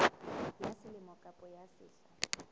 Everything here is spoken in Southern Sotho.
ya selemo kapa ya sehla